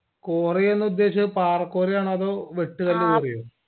cory യെന്ന് ഉദേശിച്ചത് പാറ cory ആണോ അതോ വെട്ട് കല്ല് cory യോ